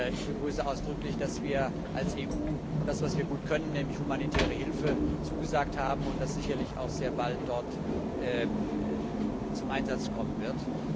Ich begrüße ausdrücklich, dass wir als EU das, was wir gut können nämlich humanitäre Hilfe leisten zugesagt haben und das sicherlich auch sehr bald dort zum Einsatz kommen wird.